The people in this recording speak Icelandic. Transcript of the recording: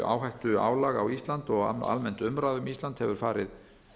áhættuálag á ísland og almennt umræða um ísland hefur farið